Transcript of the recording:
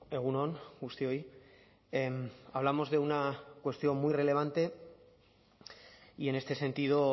egun on guztioi hablamos de una cuestión muy relevante y en este sentido